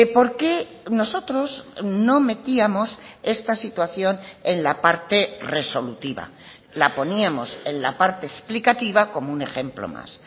porque nosotros no metíamos esta situación en la parte resolutiva la poníamos en la parte explicativa como un ejemplo más